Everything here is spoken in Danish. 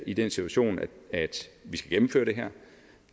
i den situation at vi skal gennemføre det her